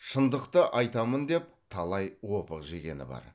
шындықты айтамын деп талай опық жегені бар